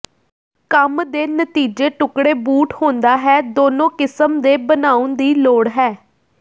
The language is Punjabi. ਕੰਮ ਦੇ ਨਤੀਜੇ ਟੁਕੜੇ ਬੂਟ ਹੁੰਦਾ ਹੈ ਦੋਨੋ ਕਿਸਮ ਦੇ ਬਣਾਉਣ ਦੀ ਲੋੜ ਹੈ